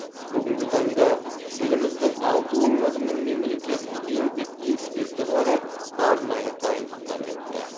бүгінгі таңда еліміздің алты өңірінің мемлекеттік еңбек инспекторлары арнайы дайындықтан өтті